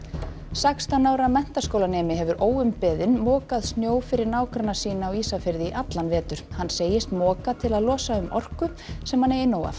sextán ára menntaskólanemi hefur óumbeðinn mokað snjó fyrir nágranna sína á Ísafirði í allan vetur hann segist moka til að losa um orku sem hann eigi nóg af